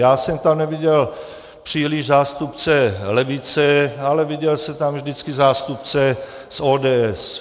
Já jsem tam neviděl příliš zástupce levice, ale viděl jsem tam vždycky zástupce z ODS.